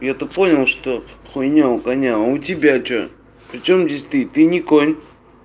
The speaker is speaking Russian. я-то понял что хуйня у коня а у тебя что причём здесь ты ты не конь